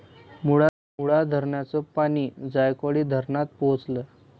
मुळा धरणाचं पाणी जायकवाडी धरणात पोहचलं